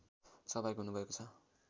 सहभागी हुनुभएको छ